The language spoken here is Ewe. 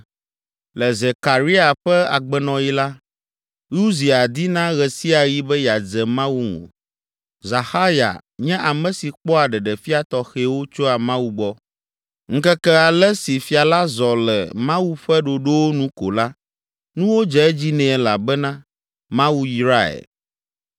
Le Zekaria ƒe agbenɔɣi la, Uzia dina ɣe sia ɣi be yeadze Mawu ŋu. Zaxarya nye ame si kpɔa ɖeɖefia tɔxɛwo tsoa Mawu gbɔ. Ŋkeke ale si fia la zɔ le Mawu ƒe ɖoɖowo nu ko la, nuwo dze edzi nɛ elabena Mawu yrae.